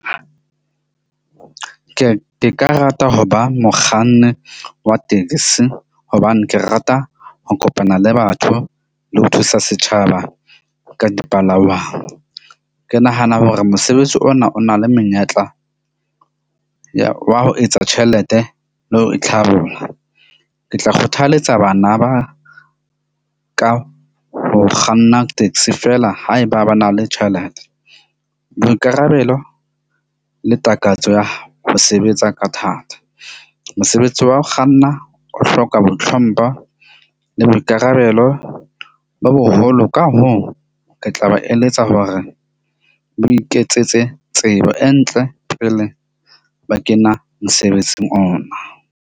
Ke ka rata ho ba mokganni wa taxi. Hobane ke rata ho kopana le batho le ho thusa setjhaba ka dipalangwang. Ke nahana hore mosebetsi ona o na le menyetla wa ho etsa tjhelete le ho . Ke tla kgothaletsa bana ba ka ho kganna taxi feela ha eba ba na le tjhelete. Boikarabelo le takatso ya ho sebetsa ka thata, mosebetsi wa ho kganna o hloka ho itlhompha le boikarabelo bo boholo. Ka hoo, ke tla ba eletsa hore ba iketsetse tsebo e ntle pele ba kena mosebetsing ona.